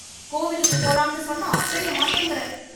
கோவிலுக்கு போலாம்னு சொன்னா அசைய மாட்டேங்குற